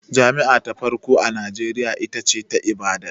Jami'a ta farko a Najeriya ita ce ta Ibadan